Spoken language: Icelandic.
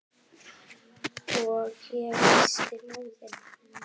Og ég missti móðinn.